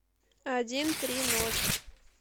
один три ноль